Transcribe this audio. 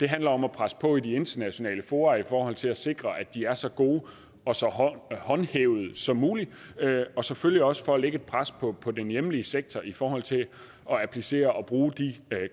handler om at presse på i de internationale fora i forhold til at sikre at de er så gode og så håndhævede som muligt og selvfølgelig også for at lægge et pres på på den hjemlige sektor i forhold til at applicere og bruge de